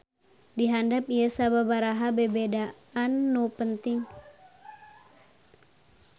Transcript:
Di handap ieu sababaraha bebedaan nu penting.